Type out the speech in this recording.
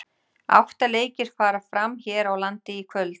Átta leikir fara fram hér á landi í kvöld.